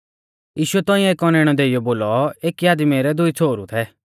यीशुऐ तौंइऐ एक औनैणै देइयौ बोलौ एकी आदमी रै दुई छ़ोहरु थै